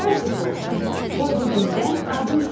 Qoy bugündən adın sənin.